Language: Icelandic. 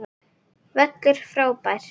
Völlur frábær.